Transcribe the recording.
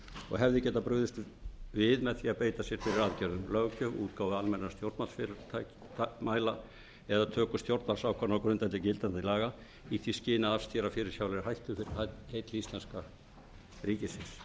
og hefði getað brugðist við með því að beita sér fyrir aðgerðum löggjöf útgáfu almennra stjórnarfyrirmæla eða töku stjórnvaldsákvarðana á grundvelli gildandi laga í því skyni að afstýra fyrirsjáanlegri hættu fyrir hönd íslenska ríkisins annars